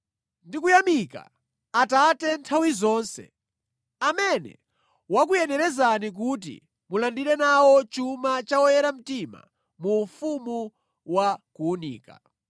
ndi kuyamika Atate nthawi zonse, amene wakuyenerezani kuti mulandire nawo chuma cha oyera mtima mu ufumu wa kuwunika.